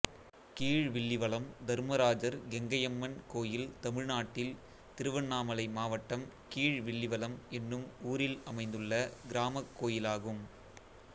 கீழ்வில்லிவளம் தர்மராஜர் கெங்கையம்மன் கோயில் தமிழ்நாட்டில் திருவண்ணாமலை மாவட்டம் கீழ்வில்லிவளம் என்னும் ஊரில் அமைந்துள்ள கிராமக் கோயிலாகும்